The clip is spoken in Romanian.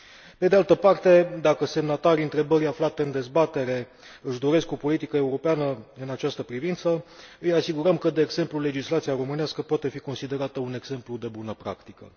Pe de altă parte, dacă semnatarii întrebării aflate în dezbatere își doresc o politică europeană în această privință, îi asigurăm că, de exemplu, legislația românească poate fi considerată un exemplu de bună practică.